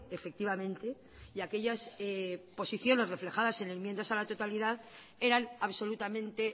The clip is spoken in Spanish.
efectivamente y aquellas posiciones reflejadas en enmiendas a la totalidad eran absolutamente